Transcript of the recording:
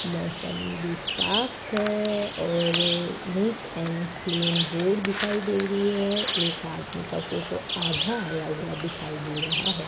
मौसम भी साफ है और नीट एंड क्लीन रोड दिखाई दे रही है एक आदमी का फोटो आधा आया हुआ दिखाई दे रहा है।